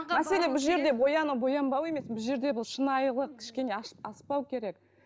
мәселе бұл жерде бояну боянбау емес бұл жерде бұл шынайылық кішкене аспау керек